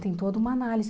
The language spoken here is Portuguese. Tem toda uma análise.